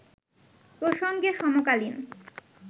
প্রসঙ্গে সমকালীন